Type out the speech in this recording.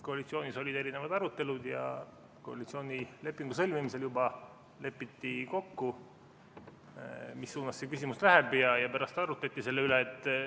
Koalitsioonis olid erinevad arutelud ja koalitsioonilepingu sõlmimisel juba lepiti kokku, mis suunas see küsimus läheb, ja pärast arutleti selle üle.